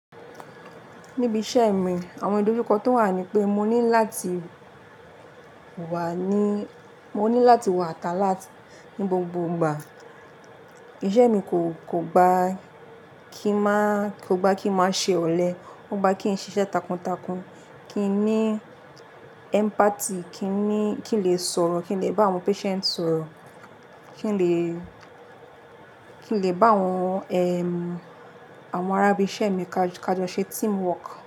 Níbi iṣẹ́ mi, àwọn idojuko tó wà ni pé mo ní lati wà ní, mo ní láti wà ata lati ní gbogbo ìgbà. Iṣẹ́ mi kò, kò gba kí máa, kò gba kí máa ṣe ọ̀lẹ, ó gba kí n ṣiṣẹ́ takuntakun, kí n ní empathy, kí n ní, kí n lè sọ̀rọ̀, kí n lè bá àwọn patient sọ̀rọ̀, kí n lè, kí n lè bá àwọn, àwọn ará bi iṣẹ́ mi kajọ kajọ ṣe teamwork.